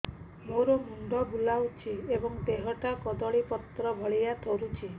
ମୋର ମୁଣ୍ଡ ବୁଲାଉଛି ଏବଂ ଦେହଟା କଦଳୀପତ୍ର ଭଳିଆ ଥରୁଛି